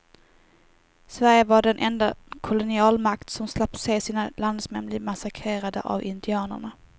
Sverige var den enda kolonialmakt som slapp se sina landsmän bli massakrerade av indianerna.